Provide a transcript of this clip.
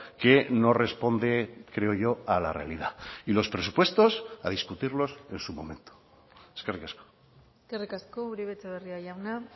que no responde creo yo a la realidad y los presupuestos a discutirlos en su momento eskerrik asko eskerrik asko uribe etxebarria jauna